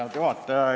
Head juhataja!